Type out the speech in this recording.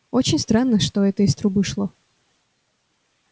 очень странно что это из трубы шло